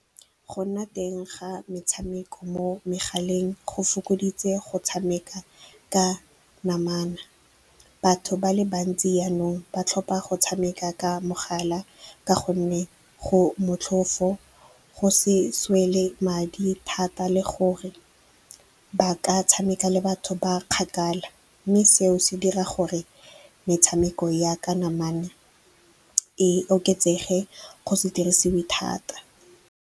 Go nna teng ga metshameko mo megaleng go fokoditse go tshameka ka namana. Batho ba le bantsi jaanong ba tlhopa go tshameka ka mogala ka gonne go motlhofo, go seswele madi thata, le gore ba ka tshameka le batho ba kgakala. Mme seo se dira gore metshameko ya ka namana e oketsege go se dirisiwe thata.